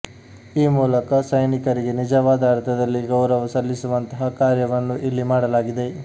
ಈ ಮೂಲಕ ಸೈನಿಕರಿಗೆ ನಿಜವಾದ ಅರ್ಥದಲ್ಲಿ ಗೌರವ ಸಲ್ಲಿಸುವಂತಹ ಕಾರ್ಯವನ್ನು ಇಲ್ಲಿ ಮಾಡಲಾಗಿದೆ